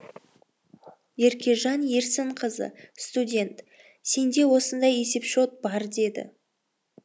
еркежан ерсінқызы студент сенде осындай есепшот бар деді